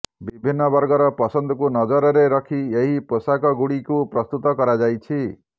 ବିଭିନ୍ନ ବର୍ଗର ପସନ୍ଦକୁ ନଜରରେ ରଖି ଏହି ପୋଷାକଗୁଡ଼ିକୁ ପ୍ରସ୍ତୁତ କରାଯାଇଛି